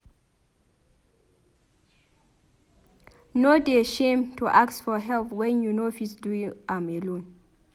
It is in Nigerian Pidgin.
No dey shame to ask for help wen you no fit do am alone.